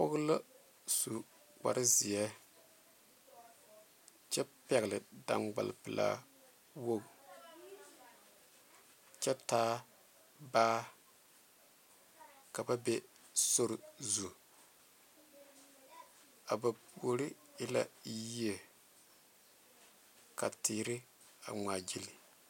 Pɔge la su kpaare zeɛ kyɛ pɛle dankpale pɛle Kyɛ taa baa ka ba be sori zu a ba puoriŋ e la yi teere ŋma gyile.